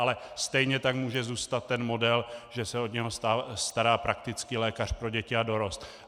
Ale stejně tak může zůstat ten model, že se o něj stará praktický lékař pro děti a dorost.